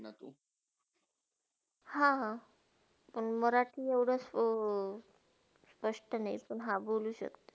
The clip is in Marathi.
हा हा, पण मराठी एवडा स्पष्ट नाही पण हा बोलू शक्तो.